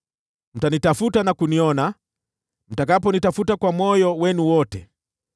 Mtanitafuta na kuniona, mtakaponitafuta kwa moyo wenu wote.